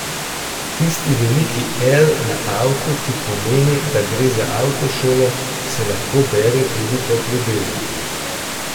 Tisti veliki L na avtu, ki pomeni, da gre za avtošolo, se lahko bere tudi kot ljubezen.